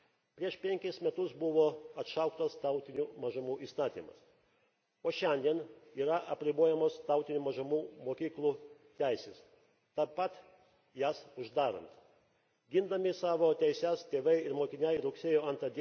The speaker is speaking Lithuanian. Prieš 5 metus buvo atšauktas Tautinių mažumų įstatymas, o šiandien yra apribojamos tautinių mažumų mokyklų teisės, jas uždarant. Gindami savo teises tėvai ir mokiniai rugsėjo 2